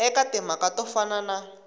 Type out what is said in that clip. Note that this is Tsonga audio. eka timhaka to fana na